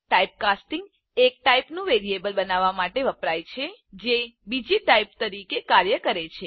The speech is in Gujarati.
ટાઇપકાસ્ટિંગ એક ટાઇપનું વેરિયેબલ બનાવવા માટે વપરાય છે જે બીજી ટાઇપ તરીકે કાર્ય કરે છે